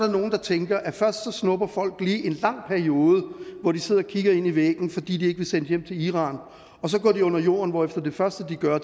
nogle der tænker at først snupper folk lige en lang periode hvor de sidder og kigger ind i væggen fordi de ikke vil sendes hjem til iran og så går de under jorden hvor det første de gør er